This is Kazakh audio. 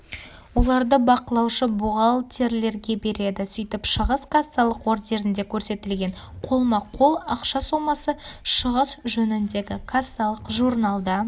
оларды бақылаушы-бухгалтерлерге береді сөйтіп шығыс кассалық ордерінде көрсетілген қолма-қол ақша сомасы шығыс жөніндегі кассалық журналда